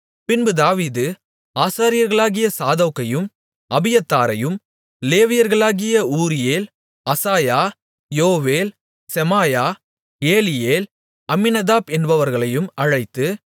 பின்பு தாவீது ஆசாரியர்களாகிய சாதோக்கையும் அபியத்தாரையும் லேவியர்களாகிய ஊரியேல் அசாயா யோவேல் செமாயா ஏலியேல் அம்மினதாப் என்பவர்களையும் அழைத்து